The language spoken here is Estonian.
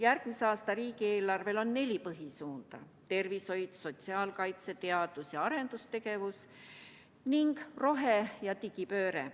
Järgmise aasta riigieelarvel on neli põhisuunda: tervishoid, sotsiaalkaitse, teadus- ja arendustegevus ning rohe- ja digipööre.